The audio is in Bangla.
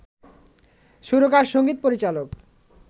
সুরকার, সঙ্গীত পরিচালক